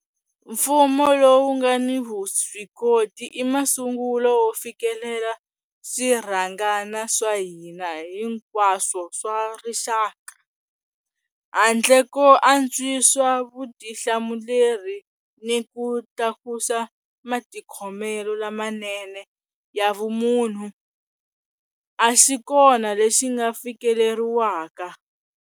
Mfumo lowu nga ni vuswikoti i masungulo yo fikelela swirhangana swa hina hi nkwaswo swa rixaka. Handle ko antswisa vutihlamuleri ni ku tlakusa matikhomelo lamanene ya vumunhu, a xi kona lexi nga fikeleriwaka.